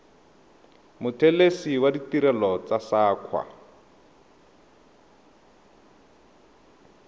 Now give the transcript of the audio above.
mothelesi wa ditirelo tsa saqa